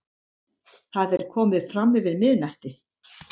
Það er komið framyfir miðnætti.